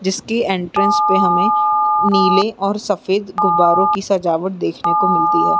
जिसकी एंट्रेन्स पे हमें नीले और सफ़ेद गुब्बारों की सजावट देखने को मिलती है।